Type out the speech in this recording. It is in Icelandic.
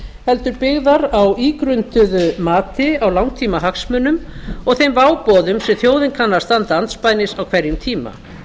heldur byggðar á ígrunduðu mati á langtímahagsmunum og þeim váboðum sem þjóðin kann að standa andspænis á hverjum tíma